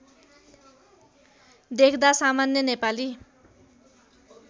देख्दा सामान्य नेपाली